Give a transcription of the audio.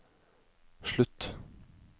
slutt